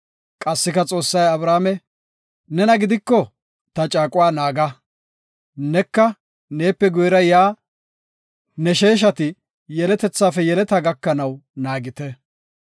Qassika Xoossay Abrahaame, “Nena gidiko ta caaquwa naaga; neka neepe guyera yaa ne sheeshati, yeletethafe yeletetha gakanaw naagite.